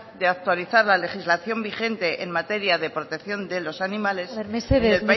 de actualizar la legislación vigente en materia de protección de los animales en el país vasco mesedez